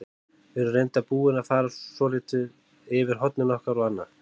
Við erum reyndar búin að fara svolítið yfir hornin okkar og annað.